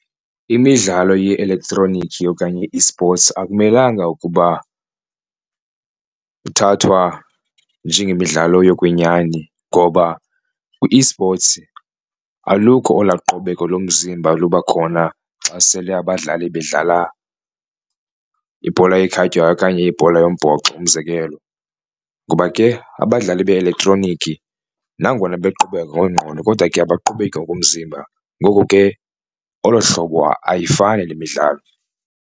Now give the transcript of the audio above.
Imidlalo ye-elektroniki okanye i-esports akumelanga ukuba ithathwa njengemidlalo yokwenyani ngoba kwi-esports alukho olwaa qobeko lomzimba luba khona xa sele abadlali bedlala ibhola ekhatywayo okanye ibhola yombhoxo. Umzekelo ngoba ke abadlali be-eletroniki nangona beqobeka ngokwengqondo kodwa ke abaqobeki ngokomzimba ngoko ke olo hlobo ayifani le midlalo.